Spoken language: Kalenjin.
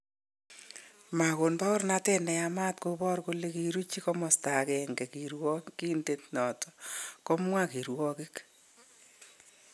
Makon paornatet neyamat kobor kole kiruchi komasta agenge kirwakindet noton , komwa kirwokgik